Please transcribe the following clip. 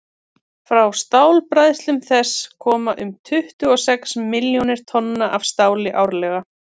frá stálbræðslum þess koma um tuttugu og sex milljónir tonna af stáli árlega